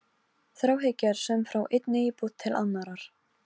Þráhyggja er söm frá einni íbúð til annarrar.